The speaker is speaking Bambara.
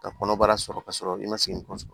Ka kɔnɔbara sɔrɔ k'a sɔrɔ i ma se n kɔsɔ